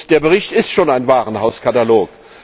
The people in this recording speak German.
Der Bericht ist schon ein Warenhauskatalog.